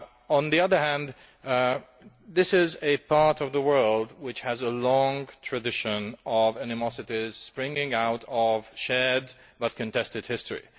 On the other hand, this is a part of the world which has a long tradition of animosity springing out of a shared, but contested, history.